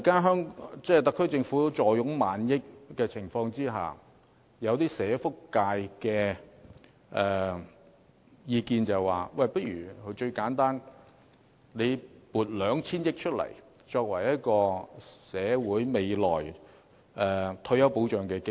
因此，在特區政府目前坐擁過萬億元儲備的情況下，社福界有意見認為最簡單的做法是撥出 2,000 億元作為社會未來的退休保障基金。